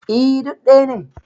E, duk ɗaya ne.